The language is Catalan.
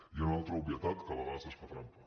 i una altra obvietat que a vegades es fa trampa